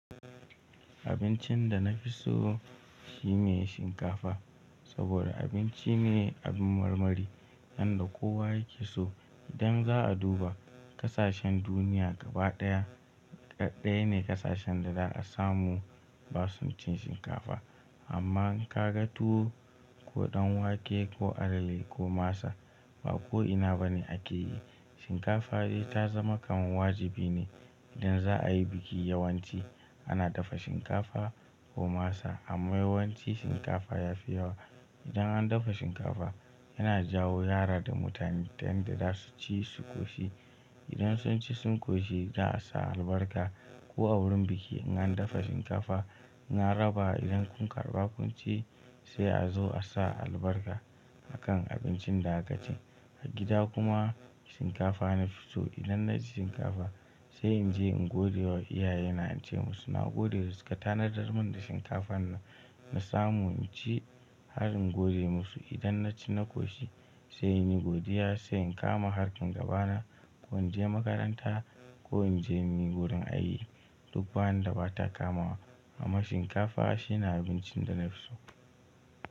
Abincin da na fi so shi ne shinkafa. Saboda abinci ne abin marmari yanda kowa yake so. Idan za a duba kasashen duniya gaba ɗaya, daddaya ne kasashen da za a samu basu cin shinkafa. Amma in ka ga tuwo ko ɗan wake ko alale ko masa, ba ko ina ba ne ake yi. Shinkafa dai ta zama kaman wajibi ne idan za a yi biki. Yawanci ana dafa shinkafa ko masa amma yawanci shinkafa ya fi yawa. Idan an dafa shinkafa yana jawo yara da mutane ta yanda za su ci su ƙoshi. Idan sun ci sun ƙoshi za a sa albarka. Ko a wurin biki in an dafa shinkafa in an raba idan kun karɓa kun ci sai a zo a sa albarka a kan abincin da aka ci. A gida kuma shinkafa na fi so. Idan na ci shinkafa sai in je in godewa iyaye na, in ce musu na gode da suka tanadar mun da shinkafan nan na samu in ci har in gode musu. Idan na ci na ƙoshi sai in yi godiya, sai in kama harkan gaba na. Ko in je makaranta ko in je muyi wurin aiki duk ba wanda ba ta kamawa. Amma shinkafa shi ne abincin da na fi so.